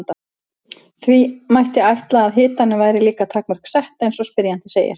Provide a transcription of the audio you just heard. Því mætti ætla að hitanum væri líka takmörk sett eins og spyrjandi segir.